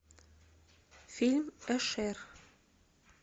фильм эшер